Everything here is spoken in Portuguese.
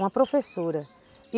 Uma professora e